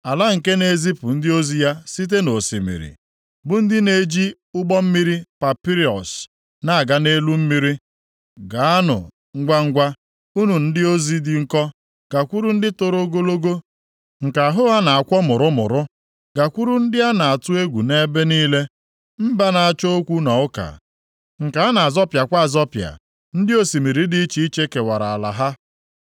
Ala nke na-ezipụ ndị ozi ya site nʼosimiri, bụ ndị na-eji ụgbọ mmiri papịrọs nʼaga nʼelu mmiri. Gaanụ ngwangwa, unu ndị ozi dị nkọ gakwuru ndị toro ogologo nke ahụ ha na-akwọ mụrụmụrụ, gakwuru ndị a na-atụ egwu nʼebe niile, mba na-achọ okwu na ụka, nke na-azọpịakwa azọpịa, ndị osimiri dị iche iche kewara ala ha.